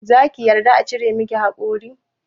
Za ki yarda a cire miki haƙori?